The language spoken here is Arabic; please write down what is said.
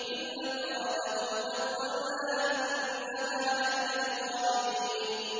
إِلَّا امْرَأَتَهُ قَدَّرْنَا ۙ إِنَّهَا لَمِنَ الْغَابِرِينَ